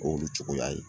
K'olu cogoya ye